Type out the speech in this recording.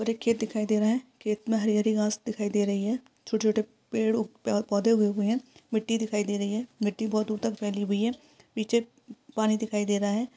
और एक खेत दिखाई दे रहा हैं खेत में हरी-हरी घास दिखाई दे रही है छोटे-छोटे पेड़ उ प पौधे उगे हुए हैं मिट्टी दिखाई दे रही है मिट्टी बहुत दूर तक फैली हुई हैं पीछे उप् पानी दिखाई दे रहा है।